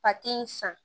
in san